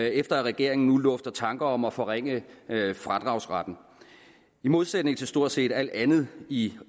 efter at regeringen nu lufter tanker om at forringe fradragsretten i modsætning til stort set alt andet i